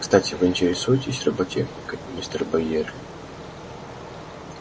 кстати вы интересуетесь роботехникой мистер байерли